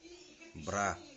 бра